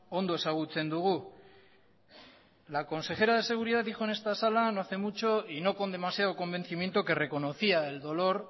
ondo ezagutzen dugu la consejera de seguridad dijo en esta sala no hace mucho y no con demasiado convencimiento que reconocía el dolor